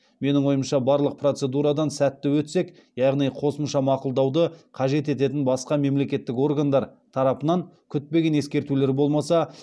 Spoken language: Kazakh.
менің ойымша барлық процедурадан сәтті өтсек яғни қосымша мақұлдауды қажет ететін басқа мемлекеттік органдар тарапынан күтпеген ескертулер болмаса